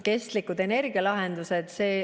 Kestlikud energialahendused.